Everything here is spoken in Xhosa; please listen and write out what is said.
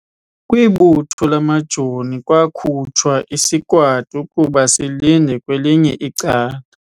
Kwibutho lamajoni kwakhutshwa isikwati ukuba silinde kwelinye icala.